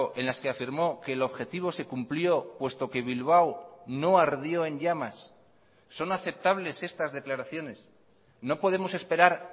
en las que afirmó que el objetivo se cumplió puesto que bilbao no ardió en llamas son aceptables estas declaraciones no podemos esperar